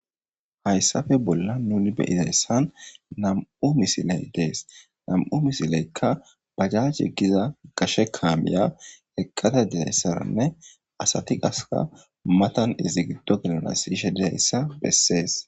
Hayssappe bolla nuni be'iza issan na'amu misilay dees .Na'amu misilekka bajjaje gizze qashe kaamiya ekkada de'iya issanne asati qassika matan izi giddo ishe de'iya issa bessees.